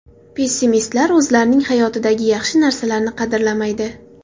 Pessimistlar o‘zlarining hayotidagi yaxshi narsalarni qadrlamaydi.